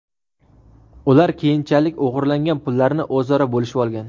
Ular keyinchalik o‘g‘irlangan pullarni o‘zaro bo‘lishib olgan.